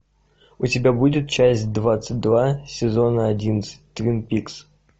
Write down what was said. у тебя будет часть двадцать два сезона одиннадцать твин пикс